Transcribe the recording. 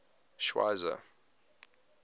schweizer